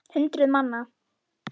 Hundruð manna.